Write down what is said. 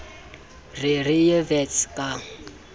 re re ye wits ka